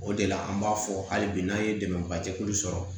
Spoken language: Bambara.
O de la an b'a fɔ hali bi n'an ye dɛmɛba de kuru sɔrɔ